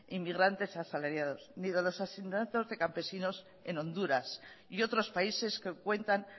inmigrantes asalariados ni de los asesinatos de campesinos en honduras y otros países que cuentan